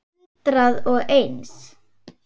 Hundrað og eins.